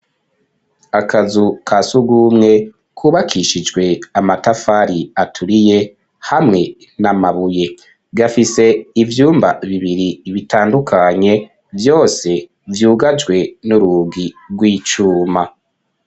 Akazu kasugumwe kubakishijwe amatafari aturiye hamwe n'amabuye, gafise ivyumba bibiri bitandukanye, vyose vyugajwe n'urugi rw'icuma.